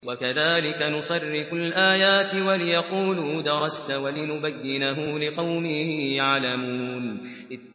وَكَذَٰلِكَ نُصَرِّفُ الْآيَاتِ وَلِيَقُولُوا دَرَسْتَ وَلِنُبَيِّنَهُ لِقَوْمٍ يَعْلَمُونَ